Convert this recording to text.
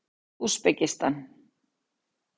Úsbekistan